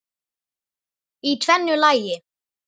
Í tvennu lagi.